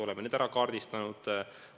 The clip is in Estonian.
Oleme need ära kaardistanud.